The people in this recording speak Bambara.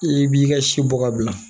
I b'i ka si bɔ ka bila